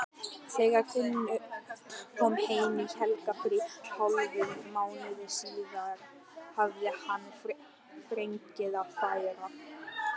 Þegar Finnur kom heim í helgarfrí hálfum mánuði síðar hafði hann fregnir að færa.